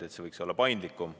See võiks olla paindlikum.